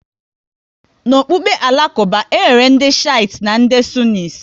N'ọkpụkpụ Alakuba, e nwere ndị Shites na ndị Sunnis